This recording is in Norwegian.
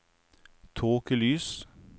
tåkelys